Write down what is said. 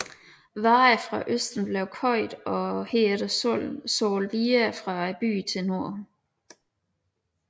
Varer fra Østen blev købt og herefter solgt videre fra byen til Norden